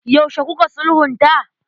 Yaushe kuka sulhunta?